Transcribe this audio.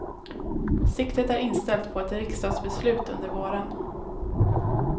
Siktet är inställt på ett riksdagsbeslut under våren.